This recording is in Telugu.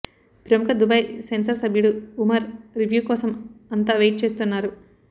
ప్రముఖ దుబాయ్ సెన్సార్ సభ్యుడు ఉమర్ రివ్యూ కోసం అంత వెయిట్ చేస్తున్నారు